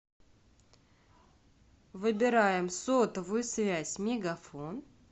выбираем сотовую связь мегафон